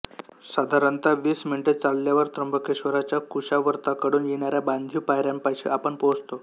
साधारणतः वीस मिनिटे चालल्यावर त्र्यंबकेश्वराच्या कुशावर्ताकडून येणाऱ्या बांधीव पायऱ्यांपाशी आपण पोहोचतो